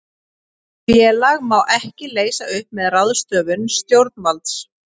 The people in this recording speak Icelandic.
Félag má ekki leysa upp með ráðstöfun stjórnvalds.